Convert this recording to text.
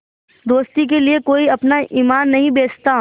दोस्ती के लिए कोई अपना ईमान नहीं बेचता